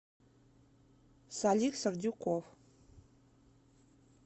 салик сардюков